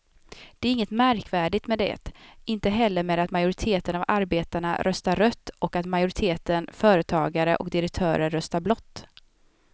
Det är inget märkvärdigt med det, inte heller med att majoriteten av arbetarna röstar rött och att majoriteten företagare och direktörer röstar blått.